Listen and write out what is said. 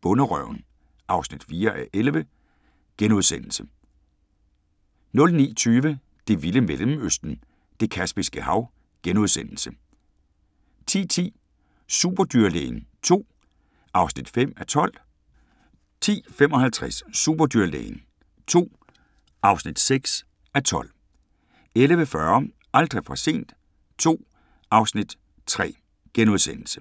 Bonderøven (4:11)* 09:20: Det vilde Mellemøsten – Det Kaspiske Hav * 10:10: Superdyrlægen II (5:12) 10:55: Superdyrlægen II (6:12) 11:40: Aldrig for sent II (Afs. 3)*